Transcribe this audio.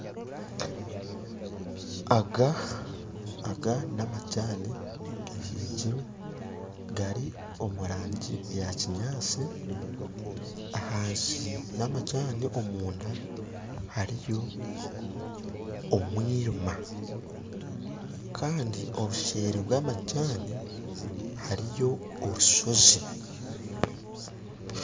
Aga namajaani gahingirwe gari omurangi ya kinyatsi ahansi yamajaani omunda yamajaani hariyo omwirima Kandi obuseeri bw'amajaani hariyo obushozi